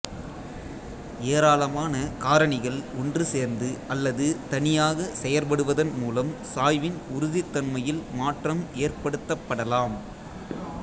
ஏராளமான காரணிகள் ஒன்று சேர்ந்து அல்லது தனியாகச் செயற்படுவதன் மூலம் சாய்வின் உறுதித்தன்மையில் மாற்றம் ஏற்படுத்தப்படலாம்